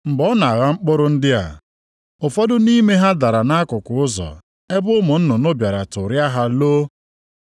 Mgbe ọ na-agha mkpụrụ ndị a, ụfọdụ nʼime ha dara nʼakụkụ ụzọ ebe ụmụ nnụnụ bịara tụrịa ha loo.